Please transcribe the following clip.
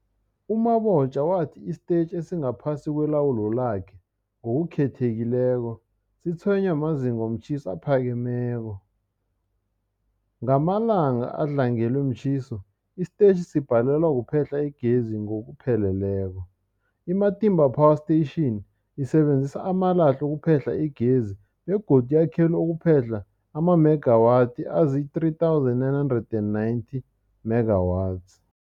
U-Mabotja wathi isitetjhi esingaphasi kwelawulo lakhe, ngokukhethekileko, sitshwenywa mazinga womtjhiso aphakemeko. Ngamalanga adlangelwe mtjhiso, isitetjhi sibhalelwa kuphehla igezi ngokupheleleko. I-Matimba Power Station isebenzisa amalahle ukuphehla igezi begodu yakhelwe ukuphehla amamegawathi azii-3990 megawatts.